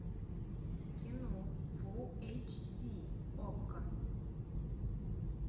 кино фул эйч ди окко